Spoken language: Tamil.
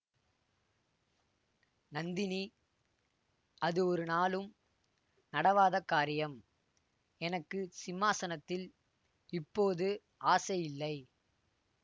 நந்தினி அது ஒரு நாளும் நடவாத காரியம் எனக்கு சிம்மாசனத்தில் இப்போது ஆசை இல்லை